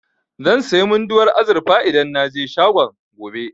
Zan sayi Munduwar azurfa idan na je shagon, gobe.